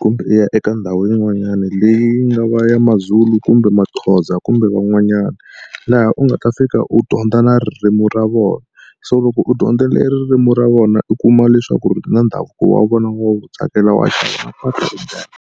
kumbe u ya eka ndhawu yin'wanyana leyi nga va ya maZulu kumbe maxXosa kumbe van'wanyana. Laha u nga ta fika u dyondza na ririmi ra vona so loko u dyondzile ririmi ra vona u kuma leswaku ri na ndhavuko wa vona wu tsakela.